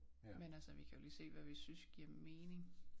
Men altså vi kan jo lige se hvad vi synes giver mening